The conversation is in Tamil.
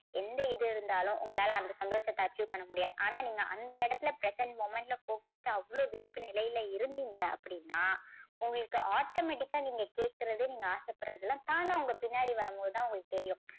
எந்த இது இருந்தாலும் உங்களால அந்த சந்தோஷத்தை achieve பண்ண முடியாது. ஆனா நீங்க அந்த இடத்துல present moment ல focused ஆ அவ்வளவு விழிப்பு நிலையில இருந்தீங்க அப்படின்னா உங்களுக்கு automatic ஆ நீங்க கேக்குறது நீங்க ஆசைப்படுறது எல்லாம் தானா உங்க பின்னாடி வரும்போது தான் உங்களுக்கு தெரியும்.